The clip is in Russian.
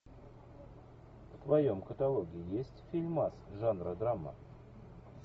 в твоем каталоге есть фильмас жанра драма